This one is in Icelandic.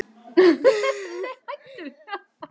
Hann rak upp stór augu.